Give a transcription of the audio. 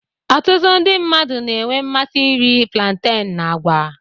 Ọtụtụ ndị mmadụ na-enwe mmasị iri planten na àgwa.